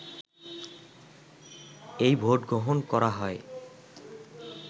এই ভোটগ্রহণ করা হয়